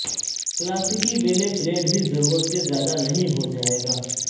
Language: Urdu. کلاسیکی بیلے فلیٹ بھی ضرورت سے زیادہ نہیں ہو جائے گا